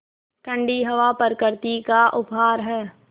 ठण्डी हवा प्रकृति का उपहार है